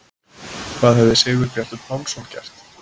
Hvað hefði Sigurbjartur Pálsson gert?